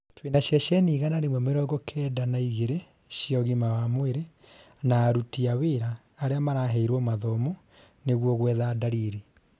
twĩna ceceni igana ria mĩrongo Kenda na igĩrĩ cia ũgima wa mwĩrĩ, na aruti a wĩra aria maraheirwo mathomo nigũo gwetha ndariri